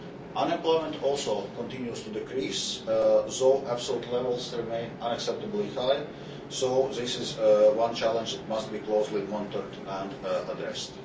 Unemployment also continues to decrease, though absolute levels remain unacceptably high, so this is one challenge that must be closely monitored and addressed.